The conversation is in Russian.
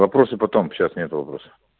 вопросы потом сейчас нет вопросов